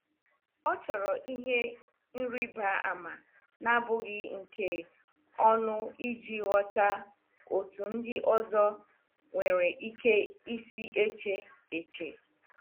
Ọ chọrọ ihe nrịba ama na-abụghị nke ọnụ iji ghọta otu ndị ọzọ nwere ike isi eche. eche.